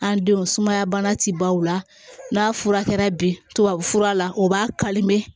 An denw sumaya bana ti baw la n'a furakɛra bi tubabu fura la u b'a